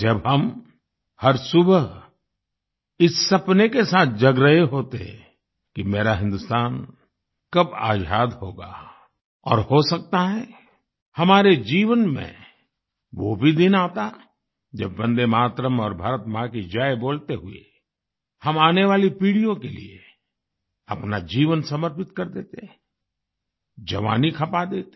जब हम हर सुबह इस सपने के साथ जग रहे होते कि मेरा हिंदुस्तान कब आज़ाद होगा और हो सकता है हमारे जीवन में वो भी दिन आता जब वंदेमातरम और भारत माँ की जय बोलते हुए हम आने वाली पीढ़ियों के लिए अपना जीवन समर्पित कर देते जवानी खपा देते